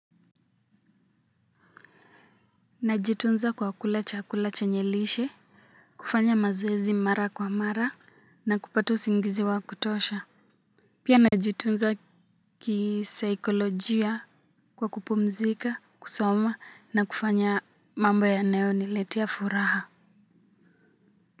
Najitunza kwa kula chakula chenye lishe, kufanya mazoezi mara kwa mara na kupata usingizi wa kutosha. Pia najitunza kisaikolojia kwa kupumzika, kusoma na kufanya mambo yanayoniletea furaha.